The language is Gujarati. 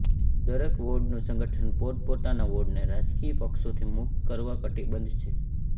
દરેક વોર્ડનું સંગઠન પોતપોતાના વોર્ડને રાજકીય પક્ષોથી મુક્ત કરવા કટીબઘ્ધ છે